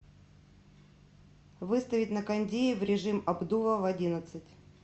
выставить на кондее в режим обдува в одиннадцать